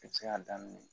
I bɛ se k'a daminɛ